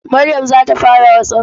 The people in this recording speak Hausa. Maryam za ta fara WhatsApp.